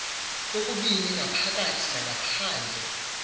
kokubini ngaphakathi nangaphandle